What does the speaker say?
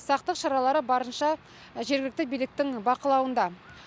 сақтық шаралары барынша жергілікті биліктің бақылауында